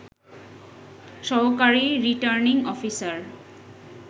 সহকারী returning officer